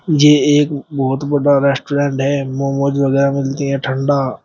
मुझे एक बहुत बड़ा रेस्टोरेंट है मोमोज वगैरा मिलती है ठंडा।